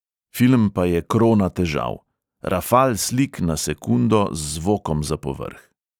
Film pa je krona težav: rafal slik na sekundo z zvokom za povrh.